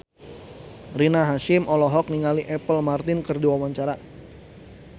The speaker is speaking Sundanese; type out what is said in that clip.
Rina Hasyim olohok ningali Apple Martin keur diwawancara